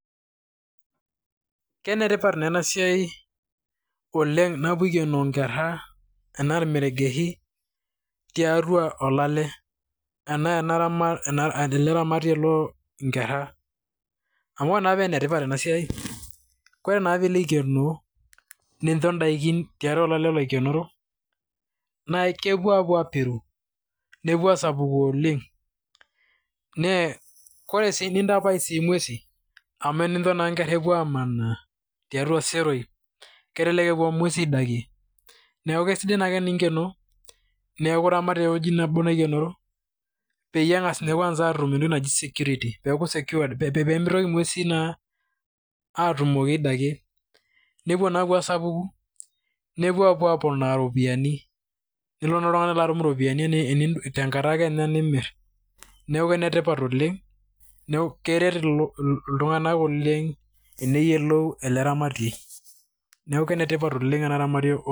Kenetipat naa ena siai oleng', napoi akeno inkera ena irmeregeshi tiatua olale. Enaa enaramatie eloo inkera, amu oree paa enetipat ena siai, ore naa pilo aikenoo , nincho daikin tiatua olale oikenoro naa kepuo apuo apiru, nepuo asapuku oleng. Naa koree sii nitapash inguesin amu tenincho inkera epuo amana tiatua iseroi kelelek epuo ing'uesi aidakie. Neeku kisidai naake teninkeno neeku iramat tewei nebo peyie eng'as naake atum entoki naji security. Peeku secured. Pemitoki ing'uesi naa atumoki aidakie, neepuo naa apuo asapuku, nepuo apuo aponaa iropiani. Nilo naa oltung'ani atum iropiani tenkata kenya nimir, neeku enetipat oleng', neeku keret ltung'ana oleng teneyiolou eleramatie. Neeku enetipat oleng' eleramatie.